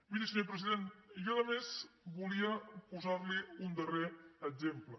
miri senyor president jo a més volia posar li un darrer exemple